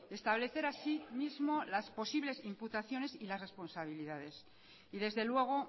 establecer asimismo las posibles imputaciones y las responsabilidades y desde luego